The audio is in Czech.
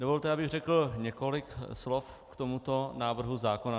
Dovolte, abych řekl několik slov k tomuto návrhu zákona.